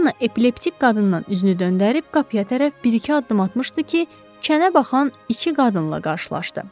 Janna epileptik qadından üzünü döndərib qapıya tərəf bir-iki addım atmışdı ki, kənə baxan iki qadınla qarşılaşdı.